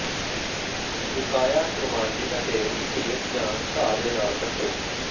ਸੁਕਾਇਆ ਖੁਰਮਾਨੀ ਅਤੇ ਘੇਰ ਜਾਂ ਘਾਹ ਦੇ ਨਾਲ ਕੱਟੋ